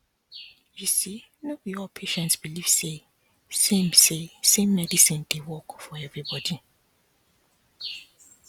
you see no b all patients believe say same say same medicine dey work for everybody